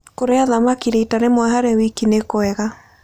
Kũrĩa thamakĩ rĩta rĩmwe harĩ wĩkĩ nĩ kwega